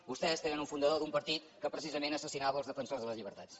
vostès tenen un fundador d’un partit que precisament assassinava els defensors de les llibertats